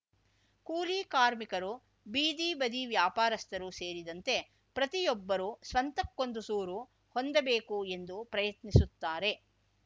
ಕೂಲಿ ಕಾರ್ಮಿಕರು ಬೀದಿಬದಿ ವ್ಯಾಪಾರಸ್ಥರು ಸೇರಿದಂತೆ ಪ್ರತಿಯೊಬ್ಬರೂ ಸ್ವಂತಕ್ಕೊಂದು ಸೂರು ಹೊಂದಬೇಕು ಎಂದು ಪ್ರಯತ್ನಿಸುತ್ತಾರೆ